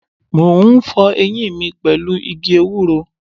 Mo ń fọ eyín mi pẹ̀lú igi ewúro.